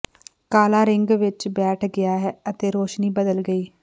ਕਾਲਾ ਰਿੰਗ ਵਿਚ ਬੈਠ ਗਿਆ ਅਤੇ ਰੌਸ਼ਨੀ ਬਦਲ ਗਈ